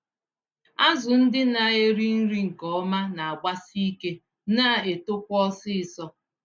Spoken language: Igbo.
Azụ ndị na-eri nri nke ọma nagbasi ike, na netokwa ọsịsọ.